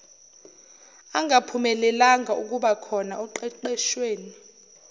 angaphumelelanga ukubakhona oqeqeshweni